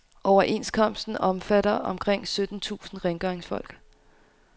Overenskomsten omfatter omkring sytten tusind rengøringsfolk.